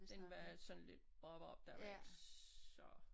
Den var sådan lidt bob bob der var ikke så